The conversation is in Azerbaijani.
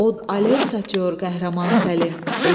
Od ələv saçıor qəhrəman Səlim.